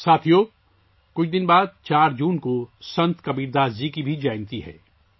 دوستو، کچھ دنوں بعد 4 جون کو سنت کبیر داس جی کا یوم پیدائش بھی ہے